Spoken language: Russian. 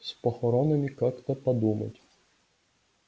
с похоронами как-то подумать